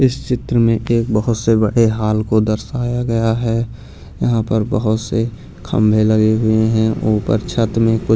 इस चित्र में एक बहुत से बड़े हाल को दर्शाया गया है यहाँ पर बहुत से खंभे लगे हुए हैं ऊपर छत में कु --